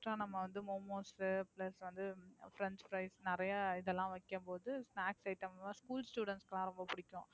Extra நம்ம வந்து Momos plus வந்து French fries நிறைய இதெல்லாம் வைக்கும்போது Snacks item லாம் School student க்குலாம் ரொம்ப பிடிக்கும்.